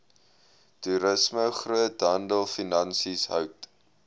toerisme groothandelfinansies hout